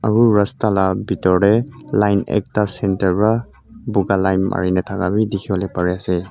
aro rasta la bidor dae line ekta center para buka line marina taka bi diki polae pari asae.